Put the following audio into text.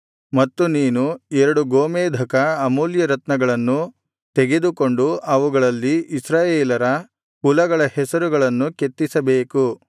ಮತ್ತು ನೀನು ಎರಡು ಗೋಮೇಧಕ ಅಮೂಲ್ಯರತ್ನಗಳನ್ನು ತೆಗೆದುಕೊಂಡು ಅವುಗಳಲ್ಲಿ ಇಸ್ರಾಯೇಲರ ಕುಲಗಳ ಹೆಸರುಗಳನ್ನು ಕೆತ್ತಿಸಬೇಕು